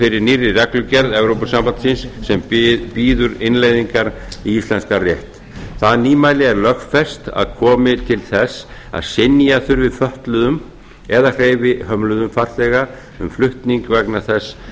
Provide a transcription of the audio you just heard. fyrir nýrri reglugerð evrópusambandsins sem býður innleiðingar í íslenskan rétt það nýmæli er lögfest að komi til þess að synja þurfi fötluðum eða hreyfihömluðum farþega um flutning vegna þess